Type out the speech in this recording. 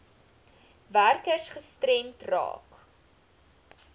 werkers gestremd raak